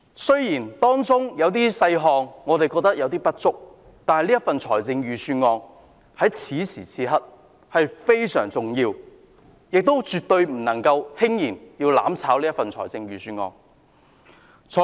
雖然預算案中的一些細節尚有不足，但預算案在此時此刻非常重要，絕不能輕言"攬炒"預算案。